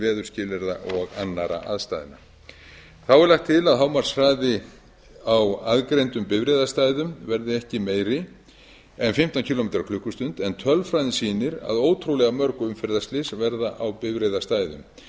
veðurskilyrða og annarra aðstæðna þá er lagt til að hámarkshraða á aðgreindum bifreiðastæðum verði ekki meiri en fimmtán kílómetra á allt en tölfræðin sýnir að ótrúlega mörg umferðarslys verða á bifreiðastæðum